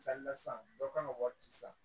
san dɔ kan ka wari ci san